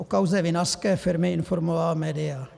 O kauze vinařské firmy informovala média.